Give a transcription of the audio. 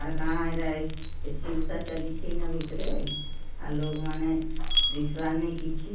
ଆ କାଣ ଏରା ଏସି ଉସା ଚାଲିଚି ନା ଭିତ୍ ରେ ଆଲୋକ ମାନ୍ ଦିସିବାରନି କିଛି।